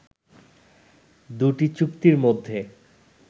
দুটি চুক্তির মধ্যে